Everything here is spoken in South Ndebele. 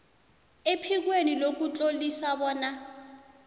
ephikweni lokutlolisa bona